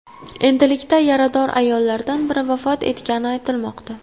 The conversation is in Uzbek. Endilikda yarador ayollardan biri vafot etgani aytilmoqda.